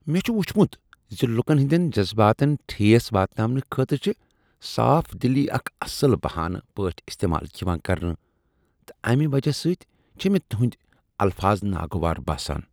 مےٚ چھ وُچھمت ز لکن ہنٛدین جذباتن ٹھیس واتاونہٕ خٲطرٕ چھ صاف دلی اکھ اصل بہانہٕ پٲٹھۍ استعمال یوان کرنہٕ تہٕ امی وجہ سۭتۍ چھ مےٚ تہنٛدۍ الفاظ ناگوار باسان۔